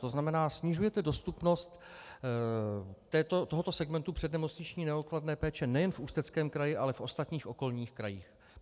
To znamená, snižujete dostupnost tohoto segmentu přednemocniční neodkladné péče nejen v Ústeckém kraji, ale v ostatních okolních krajích.